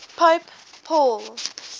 pope paul